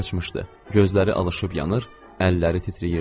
Gözləri alışıp yanır, əlləri titrəyirdi.